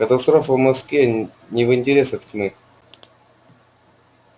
катастрофа в москве не в интересах тьмы